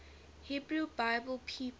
hebrew bible people